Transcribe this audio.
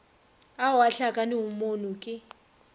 ao a hlakanego moono ke